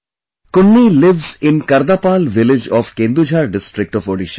Kunni lives in Kardapal village of Kendujhar district of Odisha